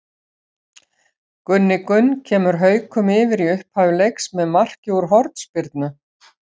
Gunni Gunn kemur Haukum yfir í upphafi leiks með marki úr hornspyrnu.